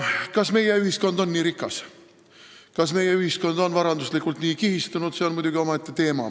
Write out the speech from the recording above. Kas meie ühiskond on nii rikas, kas meie ühiskond on varanduslikult nii kihistunud, see on muidugi omaette teema.